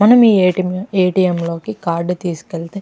మనం ATM. ATM. లోకి card తీసుకెళ్తే --